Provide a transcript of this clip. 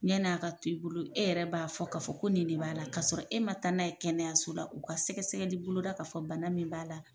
Ɲani a ka to i bolo e yɛrɛ b'a fɔ k'a fɔ ko nin de b'a la k'a sɔrɔ e ma taa n'a ye kɛnɛyaso la u ka sɛgɛsɛgɛli boloda k'a fɔ bana min b'a la